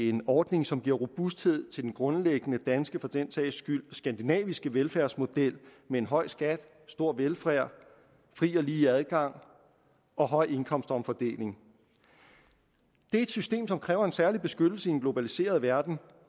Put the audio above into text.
en ordning som giver robusthed til den grundlæggende danske og for den sags skyld skandinaviske velfærdsmodel med en høj skat stor velfærd fri og lige adgang og høj indkomstomfordeling det er et system som kræver en særlig beskyttelse i en globaliseret verden